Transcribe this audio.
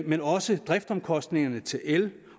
men også driftsomkostningerne til el